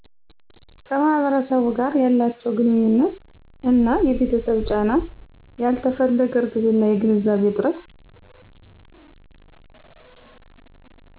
ከማህበረሰቡ ጋር ያላችው ግንኙነት እና የቤተሰብ ጫና ያልተፈለገ እርግዝና የግንዛቤ እጥረት